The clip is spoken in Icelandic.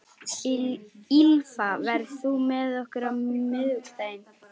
Ýlfa, ferð þú með okkur á miðvikudaginn?